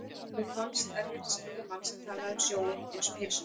Honum fannst erfitt að skilja mann sem talaði um sjóinn einsog heilsulind.